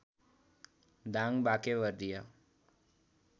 Dang Banke Vardia